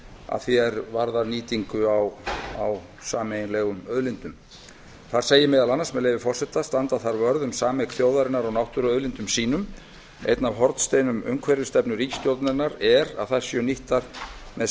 að því er varðar nýtingu á sameiginlegum auðlindum þar segir meðal annars með leyfi forseta standa þarf vörð um sameign þjóðarinnar á náttúruauðlindum sínum einn af hornsteinum umhverfisstefnu ríkisstjórnarinnar er að þær séu nýttar með